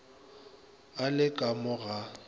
a le ka mo ga